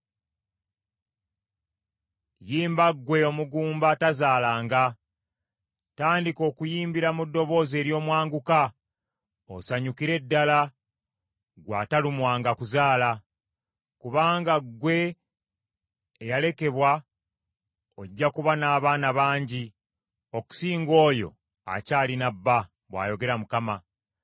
“Yimba ggwe omugumba atazaalanga; tandika okuyimbira mu ddoboozi ery’omwanguka osanyukire ddala ggwe atalumwanga kuzaala. Kubanga ggwe eyalekebwa ojja kuba n’abaana bangi okusinga oyo akyalina bba,” bw’ayogera Mukama .